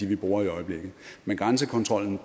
vi bruger i øjeblikket men grænsekontrollen